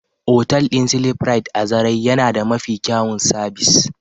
otal din "sleeprite" a zarai yana da Mafi kyawun sabis.